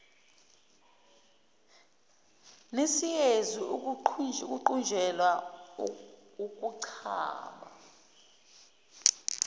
nesiyezi ukuqunjelwa ukuchama